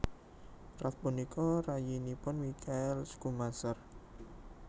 Ralf punika rayinipun Michael Schumacher